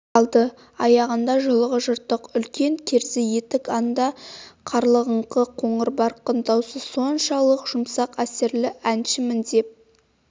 қалды аяғында жұлығы жыртық үлкен керзі етік анда- қарлығыңқы қоңырбарқын даусы соншалық жұмсақ әсерлі әншімін деп